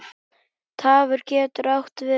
Tarfur getur átt við